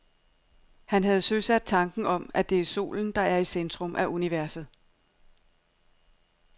Han havde søsat tanken om, at det er solen, der er i centrum af universet.